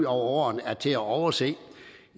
over årene er til at overse